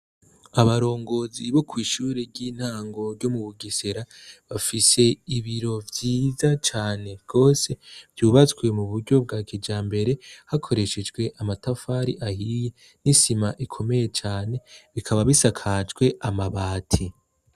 Abarongozi bo kw'ishure ry'intango ryo Mubugesera bafise ibiro vyiza cane gose, vyubatswe mu buryo bwa kijambere hakoreshejwe amatafari ahiye n'isima bikomeye cane bikaba bisakaje amabati.